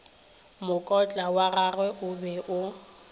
mokotla wagagwe o be o